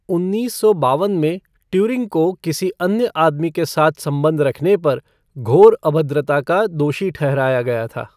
उन्नीस सौ बावन में, ट्यूरिंग को किसी अन्य आदमी के साथ संबंध रखने पर, घोर अभद्रता का दोषी ठहराया गया था।